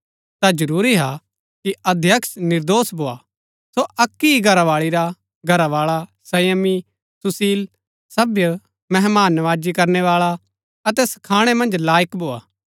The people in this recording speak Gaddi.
ता जरूरी हा कि अध्यक्ष निर्दोष भोआ सो अक्की ही घरावाळी रा घरावाळा संयमी सुशील सभ्‍य मेहमान नमाजी करनै बाळा अतै सखाणै मन्ज लाईक भोआ